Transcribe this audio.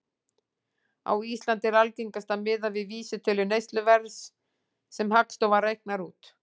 Á Íslandi er algengast að miða við vísitölu neysluverðs sem Hagstofan reiknar út.